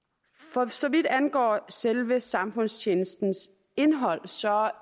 for så vidt angår selve samfundstjenestens indhold